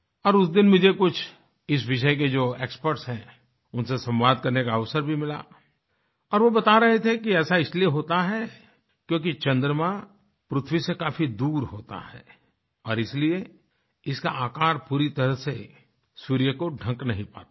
और उस दिन मुझे कुछ इस विषय के जो एक्सपर्ट्स हैं उनसे संवाद करने का अवसर भी मिला और वो बता रहे थे कि ऐसा इसलिए होता है क्योंकि चंद्रमा पृथ्वी से काफी दूर होता है और इसलिए इसका आकार पूरी तरह से सूर्य को ढक नहीं पाता है